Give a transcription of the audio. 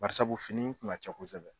Basa fini tun ka ca kosɛbɛ.